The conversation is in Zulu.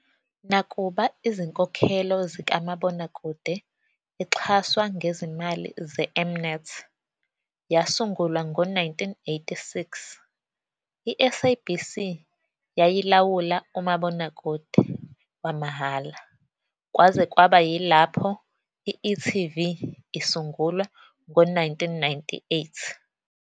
Nakuba izinkokhelo zikamabonakude exhaswa ngezimali ze-M-Net yasungulwa ngo-1986, i-SABC yayilawula umabonakude wamahhala kwaze kwaba yilapho I-e.tv isungulwa ngo-1998.